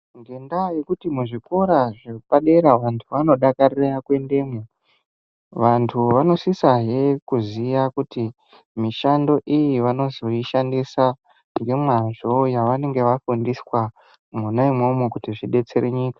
Ngendaa yekuti muzvikora zvepadera vantu vanodakarire kuendamwo vantu vanosisahe kuziya kuti mishando iyi vanozoishandisa ngemwazvo yavanenga vafundiswa mwona umwomwo kuti zvidetsere nyika.